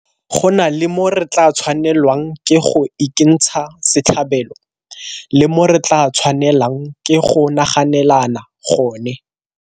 Go na le mo re tla tshwanelwang ke go ikentsha setlhabelo le mo re tla tshwanelang ke go naganelana gone.